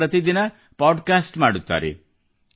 ಅವರು ಪ್ರತಿದಿನ podcast ಮಾಡುತ್ತಾರೆ